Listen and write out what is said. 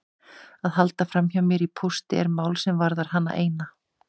Að halda framhjá mér í pósti er mál sem varðar hana eina.